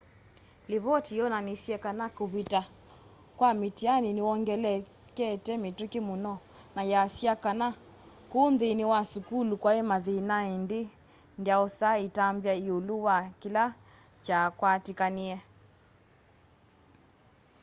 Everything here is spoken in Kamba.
livoti yonanisye kana kuvita kwa mĩtianĩ nĩwongelekete mituki muno na yasya kana ku nthĩnĩ wa sukulu kwai mathĩna ĩndĩ ndyaosa ĩtambya ĩũlũ wa kĩla kyakwatĩkanie